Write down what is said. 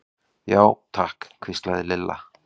Já, takk hvíslaði Lilla.